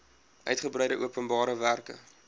uigebreide openbare werke